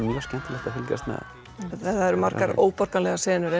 mjög skemmtilegt að fylgjast með það eru margar óborganlegar senur